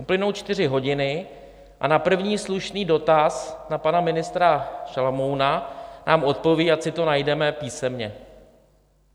Uplynou čtyři hodiny a na první slušný dotaz na pana ministra Šalomouna nám odpoví, ať si to najdeme písemně.